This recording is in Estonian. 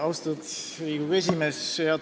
Austatud Riigikogu esimees!